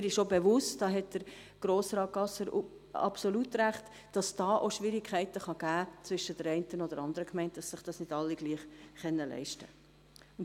Mir ist auch bewusst – damit hat Grossrat Gasser absolut recht –, dass sich dabei auch Schwierigkeiten zwischen der einen oder anderen Gemeinde ergeben können, weil sich dies nicht alle gleich leisten können.